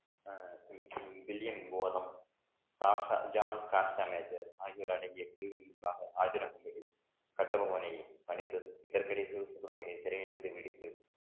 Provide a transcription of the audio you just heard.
ஆகியோர் அடங்கிய குழுவின் முன்பாக கட்டபொம்மனை அணித்தது இதற்கிடை சிவ சுப்பிரமணியன் சிறையிலிருந்து பிடித்து